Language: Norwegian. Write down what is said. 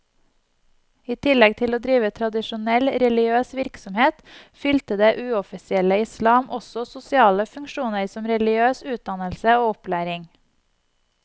I tillegg til å drive tradisjonell religiøs virksomhet, fylte det uoffisielle islam også sosiale funksjoner som religiøs utdannelse og opplæring.